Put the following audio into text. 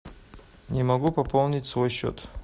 не могу пополнить свой счет